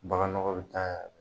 Baganɔgɔ bɛ taa yan fɛ.